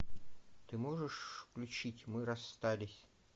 ты можешь включить мы расстались